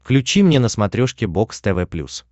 включи мне на смотрешке бокс тв плюс